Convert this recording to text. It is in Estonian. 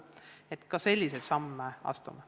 Keit Pentus-Rosimannus, palun!